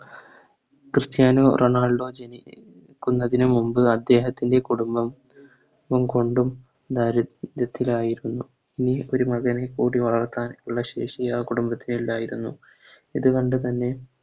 Cristiano Ronaldo ജനിക്കുന്നതിനു മുമ്പ് അദ്ദേഹത്തിൻറെ കുടുംബം കൊണ്ടും ദാരിദ്ര്യത്തിൽ ആയിരുന്നു ഈ ഒരു മകനെക്കൂടി വളർത്താനുള്ള ശേഷി ആ കുടുംബത്തിനില്ലായിരുന്നു ഇതുകൊണ്ട് തന്നെ